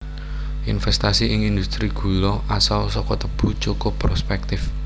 Investasi ing industri gula asal saka tebu cukup prospèktif